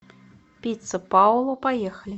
пицца паоло поехали